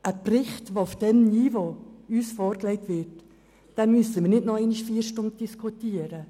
Über einen Bericht, der uns auf diesem Niveau vorgelegt wird, müssen wir nicht noch einmal vier Stunden diskutieren.